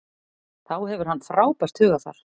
Þá hefur hann frábært hugarfar.